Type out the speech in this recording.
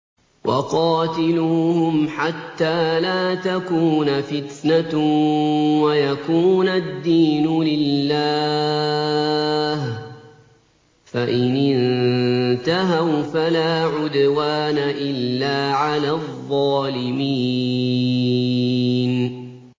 وَقَاتِلُوهُمْ حَتَّىٰ لَا تَكُونَ فِتْنَةٌ وَيَكُونَ الدِّينُ لِلَّهِ ۖ فَإِنِ انتَهَوْا فَلَا عُدْوَانَ إِلَّا عَلَى الظَّالِمِينَ